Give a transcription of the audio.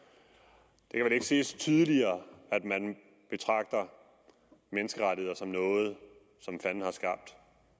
det kan vel ikke siges tydeligere at man betragter menneskerettigheder som noget fanden har skabt